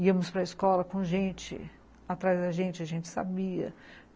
Íamos para a escola com gente atrás da gente, a gente sabia.